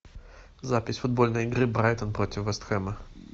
запись футбольной игры брайтон против вест хэма